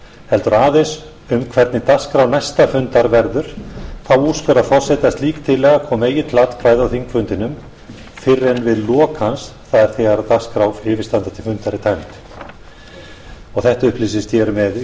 heldur aðeins um hvernig dagskrá næsta fundar verður úrskurðar forseti að slík tillaga komi eigi til atkvæða á þingfundinum fyrr en við lok hans það er þegar dagskrá yfirstandandi fundar er tæmd þetta upplýsist hér með í